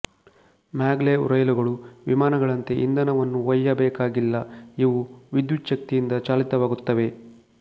maglev ರೈಲುಗಳು ವಿಮಾನಗಳಂತೆ ಇಂಧನವನ್ನು ಒಯ್ಯಬೇಕಾಗಿಲ್ಲ ಇವು ವಿದ್ಯುಚ್ಛಕ್ತಿಯಿಂದ ಚಾಲಿತವಾಗುತ್ತವೆ